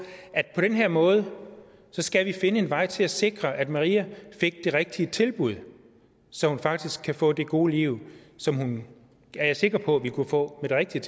den her måde skal finde en vej til at sikre at maria fik det rigtige tilbud så hun faktisk kan få det gode liv som hun er jeg sikker på vil kunne få med det rigtige